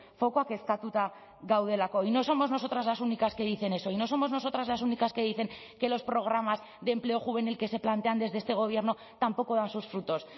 fokua kezkatuta gaudelako y no somos nosotras las únicas que dicen eso y no somos nosotras las únicas que dicen que los programas de empleo juvenil que se plantean desde este gobierno tampoco dan sus frutos